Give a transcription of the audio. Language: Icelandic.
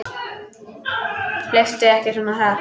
Hlauptu ekki svona hratt.